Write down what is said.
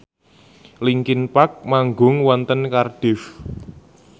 linkin park manggung wonten Cardiff